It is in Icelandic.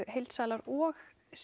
heildsalar og